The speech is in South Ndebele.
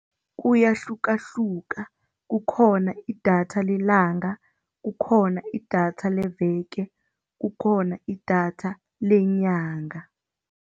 Kuyahlukahluka, kukhona idatha lelanga, kukhona idatha leveke, kukhona idatha lenyanga.